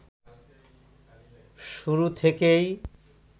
শুরু থেকেই